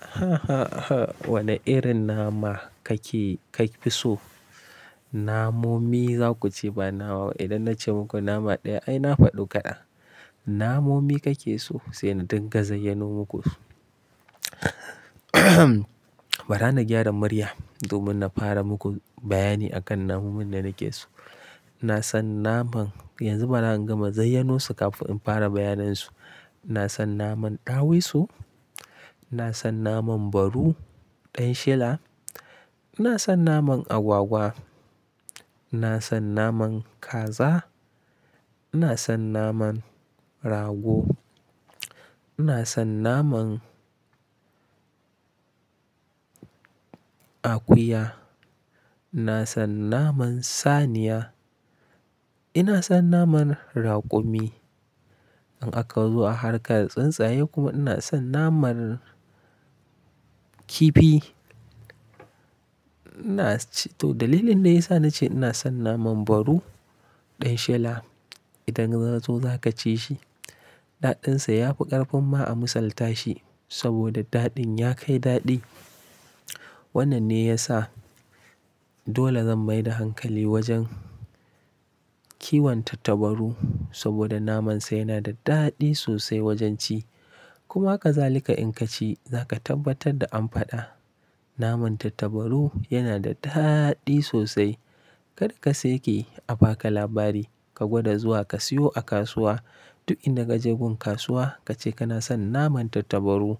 Hahaha. Wane irin nama kake, ka fi so? Namomi za ku ce ba nama ba. Idan na ce muku nama ɗaya ai na faɗi kada. Namomi kake so sai na dinga zayyanu muku su. Bari na gyara murya domin na fara muku bayani akan namunnin da nake so. Na san naman, yanzu bara in gama zayyanosu kafin in fara bayanin su. Ina san naman ɗawisu, ina san naman baru ɗan shela, ina son naman agwagwa, ina son naman kaza, ina son naman rago, ina son naman akuya, ina son naman saniya, ina son naman raƙumi. In aka zo a harka da tsuntsaye kuma ina son naman kifi. Ina c-- to dalilin da ya sa na ce ina son naman baru ɗan shela idan ka zo za ka ci shi, daɗinsa ya fi ƙarfin ma a misalta shi saboda daɗin ya kai daɗi. Wannan ne ya sa dole zan maida hankali wajen kiwonta tabaru saboda namansa yana da daɗi sosai wajen ci. Kuma ka zalika in ka ci, za ka tabbatar da an faɗa. Naman tattabaru yana da daɗi sosai. Kada ka sake a baka labari, ka gwada zuwa ka siyo a kasuwa. Duk inda ka je gun kasuwa ka ce kana son naman tattabaru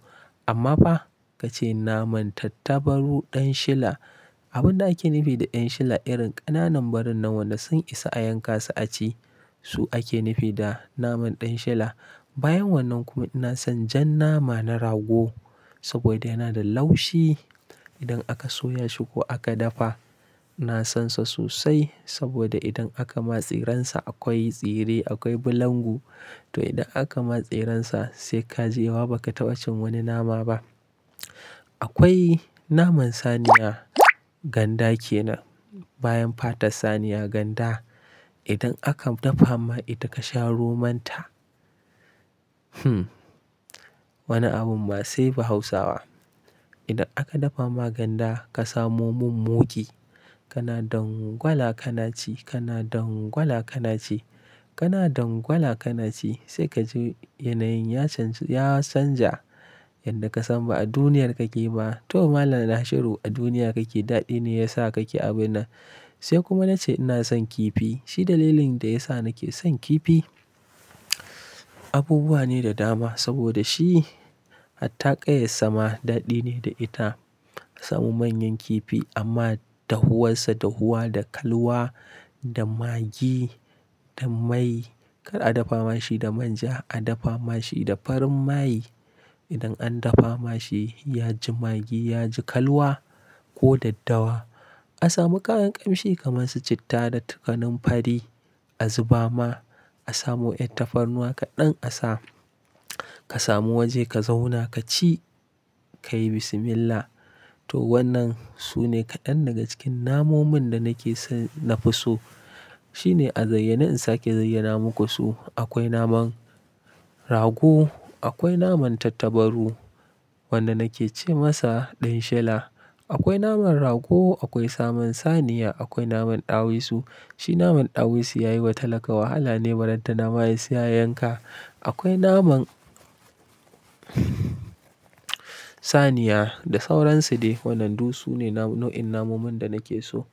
amma ba ka ce naman tattabaru ɗan shela. Abin da ake nufi da ɗan shela irin ƙananan barin nan wanda sun isa a yanka su a ci, su ake nufi da naman ɗan shela. Bayan wannan kuma ina son jan nama na rago saboda yana da laushi idan aka soya shi ko aka dafa. Na san sa sosai saboda idan aka matseransa akwai tsire, akwai bulangu. To idan aka matseransa sai ka je wa ba ka taɓa cin wani nama ba. Akwai naman saniya, ganda ke nan. Bayan fata saniya ganda idan aka dafa ma ita ka sha romon ta, wani abun masu ba Hausawa. Idan aka dafa ma ganda ka samo min muggi, kana dangwala kana ci, kana dangwala kana ci, kana dangwala kana ci sai ka ji yanayin ya canja, ya canja yadda ka san ba a duniyar kake ba. To malam Nashiru a duniya kake daɗi ne ya sa kake abun nan. Sai kuma na ce ina son kifi. Shi dalilin da ya sa nake son kifi abubuwa ne da dama saboda shi attaƙar yassama daɗi ne da ita. Ka samu manyan kifi amma dahuwarsa dahuwa da kalwa da magi da mai. Kar a dafa ma shi da manja, a dafa ma shi da farin mai. Idan an dafa ma shi ya ji magi, ya ji kalwa ko daddawa. A samu kayan kamshi kamar su citta da takanan fari a zuba ma, a samu ƴan tafarnuwa kaɗan a sa. Ka samu waje ka zauna ka ci, ka yi bismillah. To wannan su ne kaɗan daga cikin namunnin da nake so, na fi so. Shine a zayyana in sake zayyana muku su. Akwai naman rago, akwai naman tattabaru wanda nake ce masa ɗan shela. Akwai naman rago, akwai saman saniya, akwai naman ɗawisu. Shi naman ɗawisu ya yi wata laka wahala ne baradda nama ya isa a yanka. Akwai naman saniya da sauransu ne. Wadannan su ne nau'in namunnin da nake so.